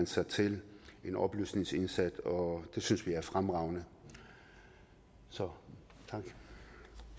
sig til en oplysningsindsats og det synes vi er fremragende så